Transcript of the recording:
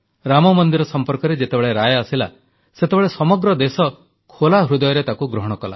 ରାମମନ୍ଦିର ସମ୍ପର୍କରେ ଯେତେବେଳେ ରାୟ ଆସିଲା ସେତେବେଳେ ସମଗ୍ର ଦେଶ ଖୋଲା ହୃଦୟରେ ତାକୁ ଗ୍ରହଣ କଲା